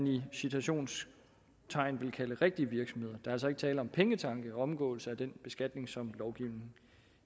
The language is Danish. i citationstegn vil kalde rigtige virksomheder er altså ikke tale om pengetanke omgåelse af den beskatning som lovgivningen